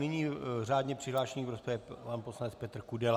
Nyní řádně přihlášený v rozpravě pan poslanec Petr Kudela.